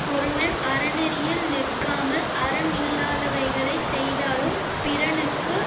ஒருவன் அறநெறியில் நிற்காமல் அறமில்லாதவைகளைச் செய்தாலும் பிறனுக்கு